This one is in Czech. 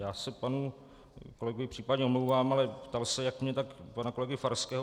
Já se panu kolegovi případně omlouvám, ale ptal se jak mne, tak pana kolegy Farského.